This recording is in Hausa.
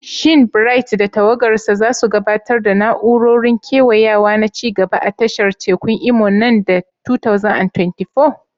Shin Bright da tawagarsa za su gabatar da na'urorin kewayawa na ci gaba a tashar tekun Imo nan da 2024?